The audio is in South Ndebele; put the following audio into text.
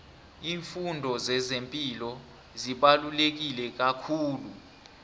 iimfundo zezepilo zibaluleke kakhulu